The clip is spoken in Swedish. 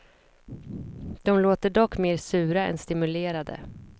De låter dock mer sura än stimulerade.